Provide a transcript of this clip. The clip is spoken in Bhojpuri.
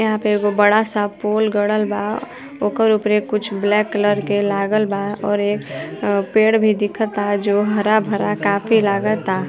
यहाँ पे एगो बड़ा सा पोल गड़ल बा। ओकर ऊपरे कुछ ब्लैक कलर के लागल बा और एक पेड़ भी दिखता जो हरा भरा काफ़ी लागता।